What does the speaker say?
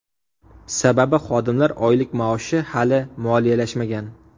Sababi xodimlar oylik-maoshi hali moliyalashmagan.